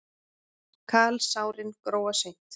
Kalsárin gróa seint.